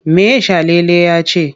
Me Salele ya ce?